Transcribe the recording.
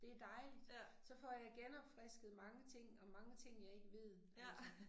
De dejligt. Så får jeg genopfrisket mange ting og mange ting jeg ikke ved altså